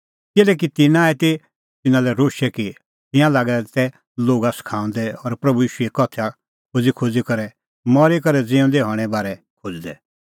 किल्हैकि तिन्नां आई तिन्नां लै रोशै कि तिंयां तै लागै दै लोगा सखाऊंदै और प्रभू ईशूओ उदाहरण दैईदैई करै मरी करै ज़िऊंदै हणें बारै खोज़दै